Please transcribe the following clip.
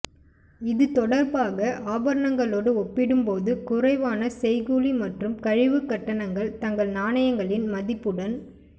இது தொடர்பாக ஆபரணங்களோடு ஒப்பிடும் போது குறைவான செய்கூலி மற்றும் கழிவுக் கட்டணங்கள் தங்க நாணயங்களின் மதிப்புடன்